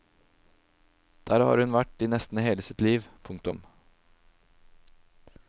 Der har hun vært i nesten hele sitt liv. punktum